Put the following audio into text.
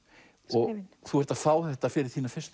skrifin þú ert að fá þetta fyrir þína fyrstu